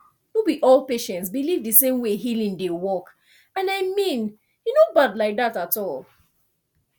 no be all patients believe the same way healing dey work and i mean e no bad like that at all